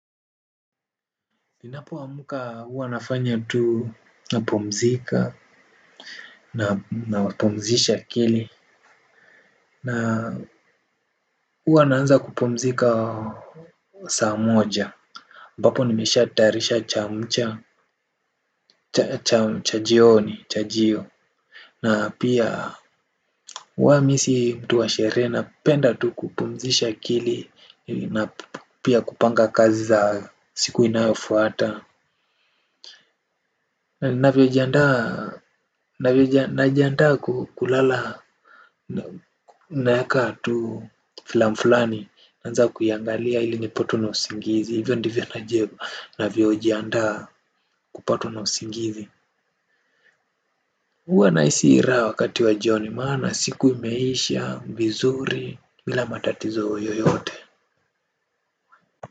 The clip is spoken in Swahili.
Ninapo amka huwa nafanya tu na pumzika na pumzisha akili na huwa naanza kupumzika saa moja ambapo nimesha tayarisha cha mcha cha cha cha jioni cha jio na pia huwa mi si mtu wa shere napenda tu kupumzisha akili na pia kupanga kazi za siku inayofuata na vyo jiandaa navyo jandaa kulala na yaka atu filamfulani anza kuiangalia ili nipo tu na usingizi hivyo ndivyo na jebo na vyojiandaa kupo tu na usingizi huwa na isira wakati wa jioni maana siku imeishavizuri bila matatizo yoyote.